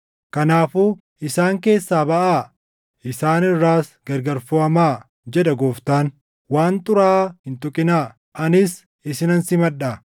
Kanaafuu, “Isaan keessaa baʼaa; isaan irraas gargar foʼamaa; jedha Gooftaan. Waan xuraaʼaa hin tuqinaa, anis isinan simadha.” + 6:17 \+xt Isa 52:11; His 20:37,41\+xt*